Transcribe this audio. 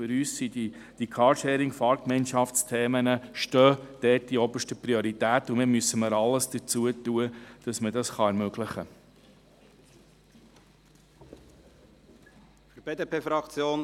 Zudem haben für uns die Carsharing-FahrgemeinschaftsThemen dort oberste Priorität, und wir müssen alles dafür tun, dass man das ermöglichen kann.